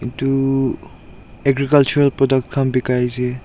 etu agricultural product khan bikhai ase.